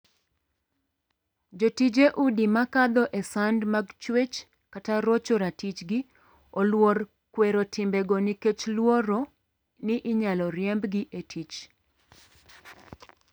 Jotije udi ma kadho e sand mag chuech kata rocho ratichgi oluor kwero timbego nikech luoro ni inyal riembgi e tich.